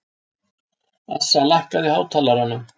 Assa, lækkaðu í hátalaranum.